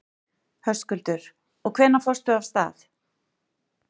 Höskuldur: Og hvenær fórst þú af stað?